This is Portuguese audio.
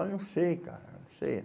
Ah, eu não sei, cara, não sei.